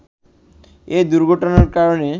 এ দুর্ঘটনার কারণে